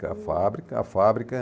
Com a fábrica, a fábrica.